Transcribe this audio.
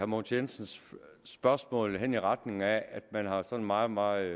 mogens jensens spørgsmål hen i retning af at man har sådan meget meget